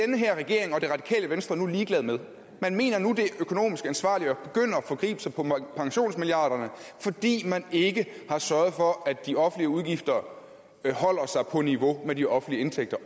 den her regering og det radikale venstre nu ligeglad med man mener nu at det er økonomisk ansvarligt at forgribe sig på pensionsmilliarderne fordi man ikke har sørget for at de offentlige udgifter holder sig på niveau med de offentlige indtægter